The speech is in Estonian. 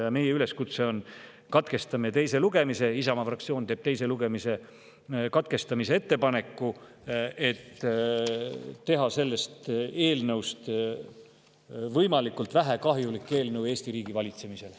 Ja meie üleskutse on järgmine: katkestame teise lugemise – Isamaa fraktsioon teeb teise lugemise katkestamise ettepaneku –, et teha sellest eelnõust võimalikult vähe kahjulik eelnõu Eesti riigi valitsemisele.